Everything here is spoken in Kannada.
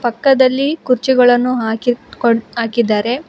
ಪಕ್ಕದಲ್ಲಿ ಕುರ್ಚಿಗಳನ್ನು ಹಾಕಿ ಕೊಟ್ಟ್ ಹಾಕಿದ್ದಾರೆ.